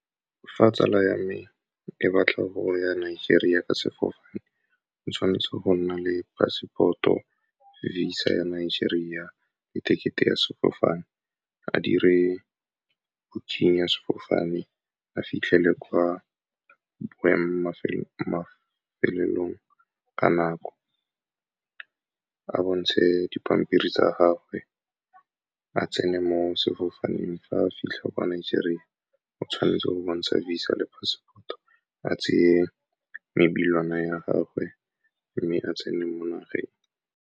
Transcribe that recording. Fa tsala ya me e batla go ya Nigeria ka sefofane, o tshwanetse go nna le passport-o, VISA ya Nigeria le ticket-e ya sefofane. A dire booking ya sefofane, a fitlhele kwa ka nako, a bontshe dipampiri tsa gagwe, a tsene mo sefofaneng. Fa a fitlha kwa Nigeria, o tshwanetse go bontsha VISA le passport-o, a tseye ya gagwe, mme a tsene mo nageng.